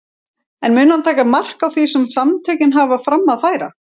En mun hann taka mark á því sem samtökin hafa fram að færa?